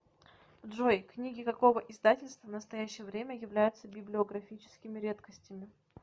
джой книги какого издательства в настоящее время являются библиографическими редкостями